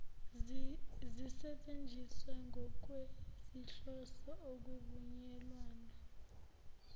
zisetshenziswa ngokwezinhloso okuvunyelwane